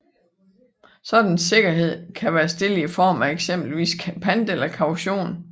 Sådan sikkerhed kan være stillet i form af eksempelvis pant eller kaution